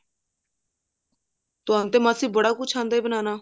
ਤੁਹਾਨੂੰ ਤੇ ਮਾਸੀ ਬੜਾ ਕੁਛ ਆਉਂਦਾ ਬਣਾਉਣਾ